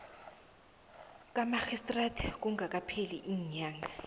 kamarhistrada kungakapheli iinyanga